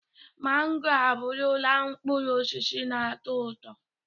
Mango abụrụla mkpụrụ osisi na-atọ ụtọ.